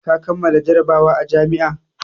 Ka kammala jarabawa a jami'a!